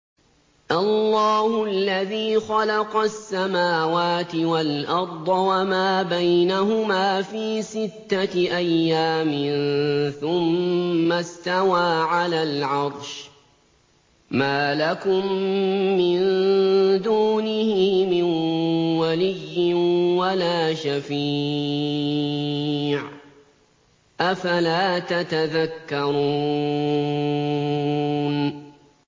اللَّهُ الَّذِي خَلَقَ السَّمَاوَاتِ وَالْأَرْضَ وَمَا بَيْنَهُمَا فِي سِتَّةِ أَيَّامٍ ثُمَّ اسْتَوَىٰ عَلَى الْعَرْشِ ۖ مَا لَكُم مِّن دُونِهِ مِن وَلِيٍّ وَلَا شَفِيعٍ ۚ أَفَلَا تَتَذَكَّرُونَ